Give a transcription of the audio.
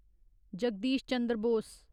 Jagdish Chandra Bose